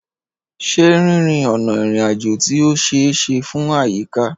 Ṣé rírìn ọ̀nà ìrìnàjò tí ó ṣe é ṣe fún àyíká?